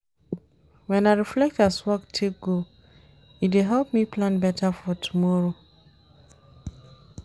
Wen I reflect as work take go, e dey help me plan beta for tomorrow.